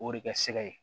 O de kɛ sɛgɛ ye